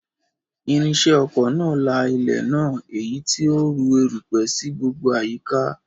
Irinṣẹ́ oko náà la ilẹ̀ náà, èyí tó ń rú erùpẹ̀ sí gbogbo àyíká